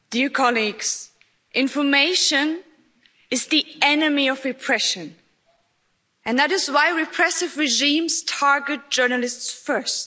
Madam President, information is the enemy of repression, and that is why repressive regimes target journalists first.